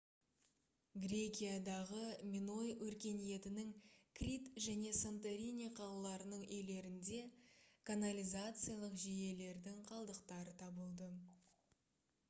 грекиядағы миной өркениетінің крит және санторини қалаларының үйлерінде канализациялық жүйелердің қалдықтары табылды